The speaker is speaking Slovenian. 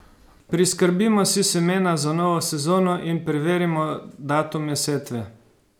Priskrbimo si semena za novo sezono in preverimo datume setve.